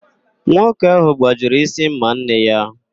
Nwata ahụ gbajiri ísí ḿmà nne ya.